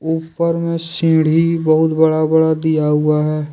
ऊपर में सीढ़ी बहुत बड़ा बड़ा दिया हुआ है।